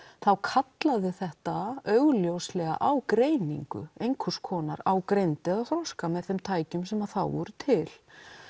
þá kallaði þetta augljóslega á greiningu einhvers konar á greind eða þroska með þeim tækjum sem þá voru til